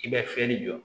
I bɛ fiyɛli jɔ